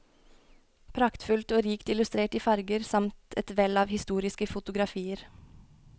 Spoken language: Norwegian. Praktfullt og rikt illustrert i farger samt et vell av historiske fotografier.